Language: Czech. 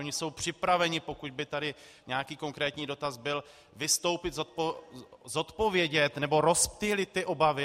Oni jsou připraveni, pokud by tady nějaký konkrétní dotaz byl, vystoupit, zodpovědět nebo rozptýlit ty obavy.